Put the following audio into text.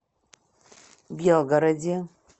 белгороде